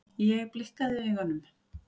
Ég blikkaði augunum.